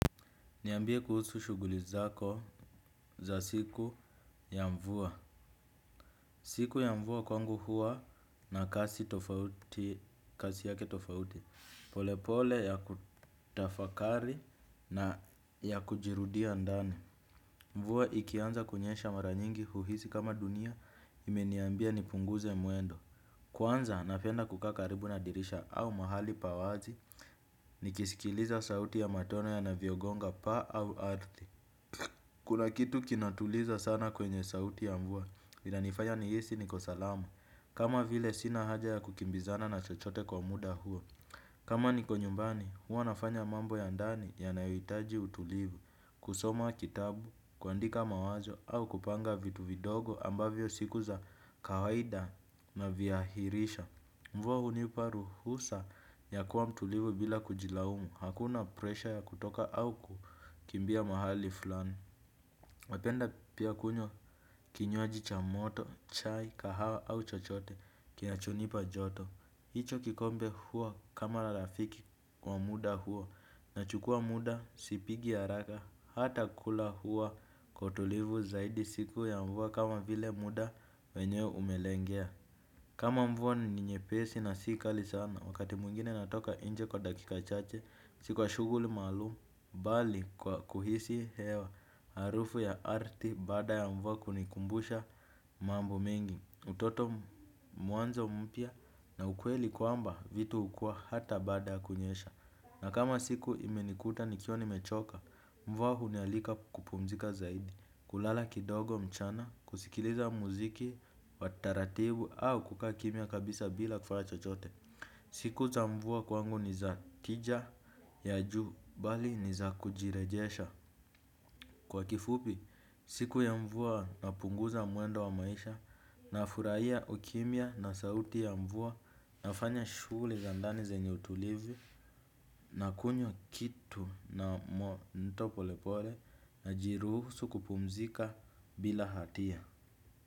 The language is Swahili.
Niambie kuhusu shuguli zako za siku ya mvua. Siku ya mvua kwangu hua na kasi tofauti, kasi yake tofauti. Polepole ya kutafakari na ya kujirudia ndani. Mvua ikianza kunyesha mara nyingi huhisi kama dunia imeniambia nipunguze mwendo. Kwanza napenda kukaa karibu na dirisha au mahali pa wazi nikisikiliza sauti ya matone yanavyogonga paa au arthi. Kuna kitu kinatuliza sana kwenye sauti ya mvua, inanifanya ni hisi niko salama, kama vile sina haja ya kukimbizana na chochote kwa muda huo. Kama niko nyumbani, huwa nafanya mambo ya ndani yanayoitaji utulivu, kusoma kitabu, kuandika mawazo, au kupanga vitu vidogo ambavyo siku za kawaida naviahirisha. Mvua hunipa ruhusa ya kuwa mtulivu bila kujilaumu, hakuna presha ya kutoka au kukimbia mahali fulani. Napenda pia kunywa kinywaji cha moto, chai, kahawa au chochote kinacho nipa joto. Hicho kikombe huwa kama rafiki wa muda huo, nachukua muda sipigi haraka, hata kula huwa kwa tulivu zaidi siku ya mvua kama vile muda wenyeo umelengea. Kama mvua ni nyepesi na si kali sana, wakati mwingine natoka nje kwa dakika chache, si kwa shuguli maalumu, bali kwa kuhisi hewa, harufu ya arthi bada ya mvua kunikumbusha mambo mengi. Utoto, mwanzo mpya na ukweli kwamba vitu hukua hata baada ya kunyesha. Na kama siku imenikuta nikiwa nimechoka, mvua hunialika kupumzika zaidi, kulala kidogo mchana, kusikiliza muziki wa taratibu au kukaa kimia kabisa bila kufanya chochote. Siku za mvua kwangu ni za tija ya juu, bali ni za kujirejesha. Kwa kifupi, siku ya mvua napunguza mwendo wa maisha, nafurahia ukimia na sauti ya mvua nafanya shughuli za ndani zenye utulivu na kunywa kitu ya moto pole pole najiruhusu kupumzika bila hatia.